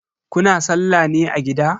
Kuna sallah ne a gida?